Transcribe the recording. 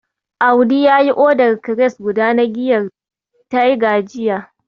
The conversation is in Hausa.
Audi yayi odar kires guda na giyar Tiger jiya.